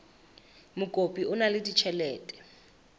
mokopi o na le ditjhelete